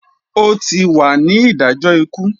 O tí wà ní idajọ ikú!